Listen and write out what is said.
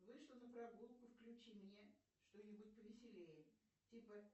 вышла на прогулку включи мне что нибудь повеселее типа